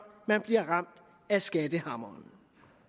man bliver ramt af skattehammeren